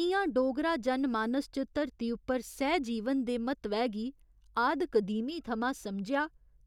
इ'यां डोगरा जनमानस च धरती उप्पर सैह्जीवन दे म्हत्तवै गी आद कदीमी थमां समझेआ